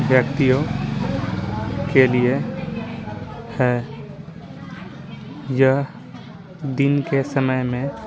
व्यक्तियों के लिए हैं यह दिन के समय में --